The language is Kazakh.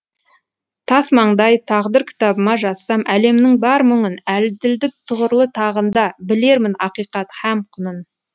тасмаңдай тағдыр кітабыма жазсам әлемнің бар мұңын әділдік тұғырлы тағында білермін ақиқат һәм құнын